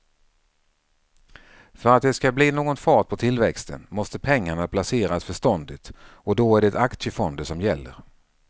För att det ska bli någon fart på tillväxten måste pengarna placeras förståndigt och då är det aktiefonder som gäller.